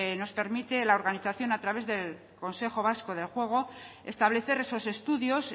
nos permite la organización a través del consejo vasco del juego establecer esos estudios